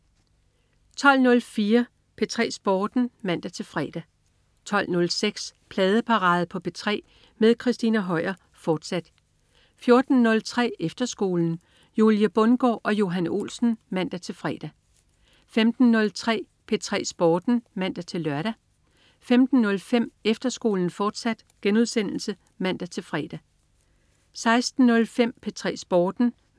12.04 P3 Sporten (man-fre) 12.06 Pladeparade på P3 med Christina Høier, fortsat 14.03 Efterskolen. Julie Bundgaard og Johan Olsen (man-fre) 15.03 P3 Sporten (man-lør) 15.05 Efterskolen, fortsat* (man-fre) 16.05 P3 Sporten (man-fre)